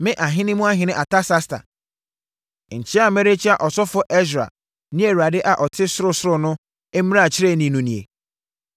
Me ahene mu ɔhene Artasasta, nkyea a merekyea ɔsɔfoɔ Ɛsra ne Awurade a ɔte sorosoro no mmarakyerɛni no nie: